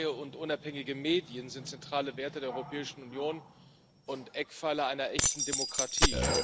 Freie und unabhängige Medien sind zentrale Werte der Europäischen Union und Eckpfeiler einer echten Demokratie.